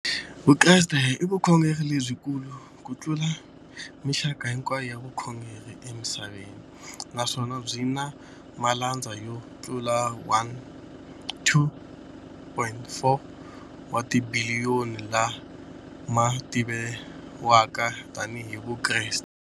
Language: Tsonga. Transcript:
Vukreste i vukhongeri lebyi kulu kutlula mixaka hinkwayo ya vukhongeri emisaveni, naswona byi na malandza yo tlula 2.4 wa tibiliyoni, la ma tiviwaka tani hi Vakreste.